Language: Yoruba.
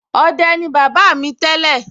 ọdẹ ni bàbá mi tẹ́lẹ̀